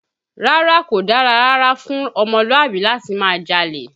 Rárá, kò dára rárá fún ọmọlúàbí láti máa jalè